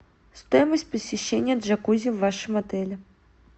стоимость посещения джакузи в вашем отеле